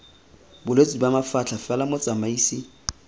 bolwetse ba mafatlha fela motsamaisi